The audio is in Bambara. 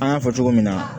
An y'a fɔ cogo min na